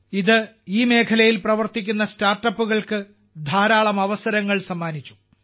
ഇത് ഈ മേഖലയിൽ പ്രവർത്തിക്കുന്ന സ്റ്റാർട്ടപ്പുകൾക്ക് ധാരാളം അവസരങ്ങൾ സമ്മാനിച്ചു